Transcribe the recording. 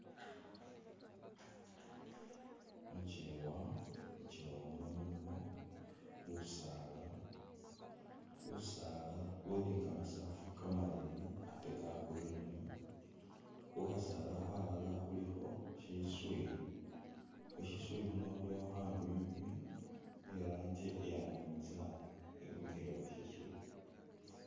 Mu kyeewa, mu kyeewa muno mulimo busaala, busaala buli ni kamasaafu kamaleeyi ate ka Green. Khu khasaala khalala khulikho shiswi, khu shiswi khuno khulikho khanywinywi khe i'rangi iya nabinzaali khemikhile khu shiswi.